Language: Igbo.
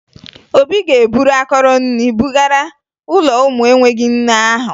Obi ga-eburu akọrọ nri bugara ụlọ ụmụ enweghi nne ahụ